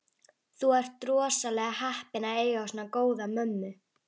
Þú ert rosalega heppinn að eiga svona góða mömmu.